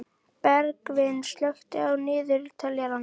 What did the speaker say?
Bergvin, slökktu á niðurteljaranum.